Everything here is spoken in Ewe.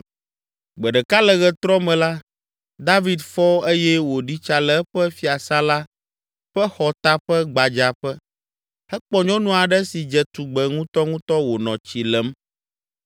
Gbe ɖeka le ɣetrɔ me la, David fɔ eye wòɖi tsa le eƒe fiasã la ƒe xɔta ƒe gbadzaƒe. Ekpɔ nyɔnu aɖe si dze tugbe ŋutɔŋutɔ wònɔ tsi lem,